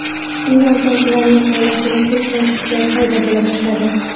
Shundan so‘ng ularning oilasida kelishmovchiliklar paydo bo‘la boshladi.